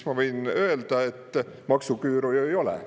Ma võin öelda, et maksuküüru ju ei ole.